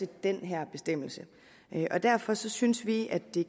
den her bestemmelse derfor synes vi at det